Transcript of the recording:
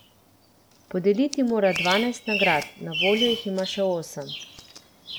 Podeliti mora dvanajst nagrad, na voljo jih ima še osem.